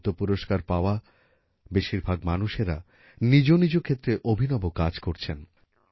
পদ্ম পুরস্কার পাওয়া বেশিরভাগ মানুষেরা নিজ নিজ ক্ষেত্রে অভিনব কাজ করছেন